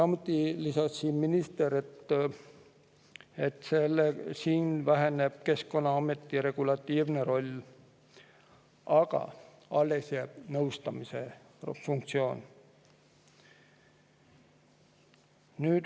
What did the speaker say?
Minister lisas, et siin väheneb Keskkonnaameti regulatiivne roll, aga alles jääb nõustamise funktsioon.